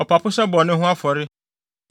ɔpapo sɛ bɔne ho afɔre;